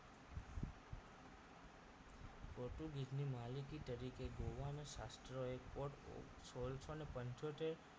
ની માલિકી તરીકે ગોવાના શાસ્ત્રોએ પોર સોળસો ને પંચોતેર